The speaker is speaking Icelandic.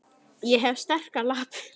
Ég hef sterkar lappir.